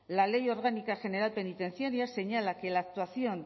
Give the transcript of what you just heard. la ley orgánica general penitenciaria señala que la actuación